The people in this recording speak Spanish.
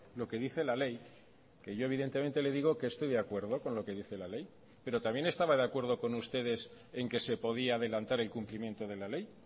lo que dice la ley que yo evidentemente le digo que estoy de acuerdo con lo que dice la ley pero también estaba de acuerdo con ustedes en que se podía adelantar el cumplimiento de la ley